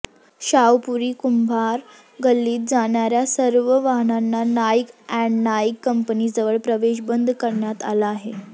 शाहूपुरी कुंभार गल्लीत जाणार्या सर्व वाहनांना नाईक अँड नाईक कंपनीजवळ प्रवेश बंद करण्यात आला आहे